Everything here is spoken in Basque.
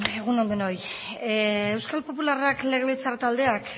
egun on denoi euskal popularrak legebiltzar taldeak